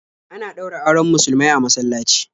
Ana ɗaura auren musulmai a masallaci.